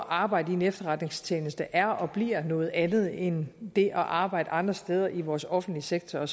arbejde i en efterretningstjeneste er og bliver noget andet end det at arbejde andre steder i vores offentlige sektor